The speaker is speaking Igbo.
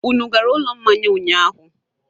Unu gara ụlọ mmanya ụnyaahụ?